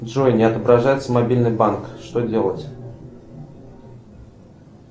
джой не отображается мобильный банк что делать